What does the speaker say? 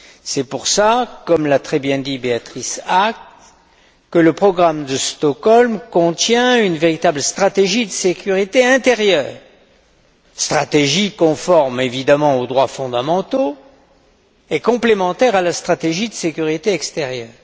C'est pour cela, comme l'a très bien dit Beatrice Ask, que le programme de Stockholm contient une véritable stratégie de sécurité intérieure stratégie conforme évidemment aux droits fondamentaux et complémentaire à la stratégie de sécurité extérieure.